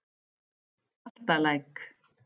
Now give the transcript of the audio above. Galtalæk